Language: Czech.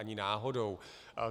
Ani náhodou.